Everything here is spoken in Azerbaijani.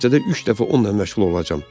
Həftədə üç dəfə onunla məşğul olacağam.